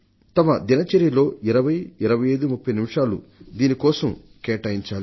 వారి దినచర్యలో 20 25 30 నిమిషాలు దీని కోసం కేటాయించాలి